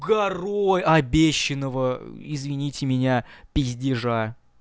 горой обещанного извините меня пиздежа